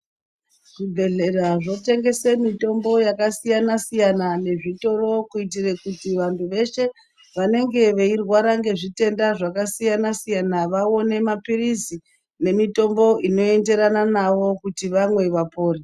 Zvibhedhlera zvotengese mutombo yakadiyana siyana nezvitoro kuitire kuti vantu veshe vanenge veirwara ngezvirwere zvakasiyana siyana vaone mapirizi nemitombo inoenderana navo kuti vamwe vapore.